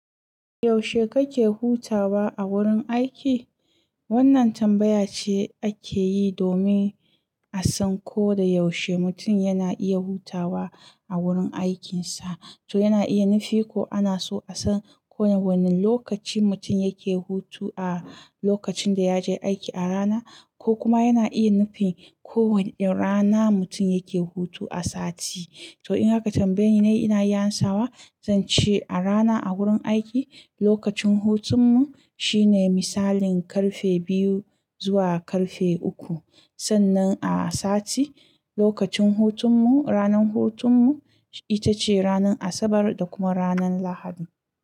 Yaushe kake hutawa a wurin aiki? Wannan tambaya ce ake yi domin a san ko da yaushe mutum yana iya hutawa a wurin aikinsa. To yana iya nufi ko ana so a san ko wane lokaci mutum yake hutu a lokacin da ya je aiki a rana, ko kuma yana iya nufin ko wane rana mutum yake hutu a sati. To in haka tambayin ina iya amsawa, zan ce a rana a wurin aiki, lokacin hutunmu shine misalin karfe biyu zuwa karfe uku. Sannan a sati, lokacin hutun mu, ranar hutun mu ita ce ranar Asabar da kuma ranar Lahadi.